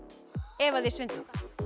ef að þið svindlið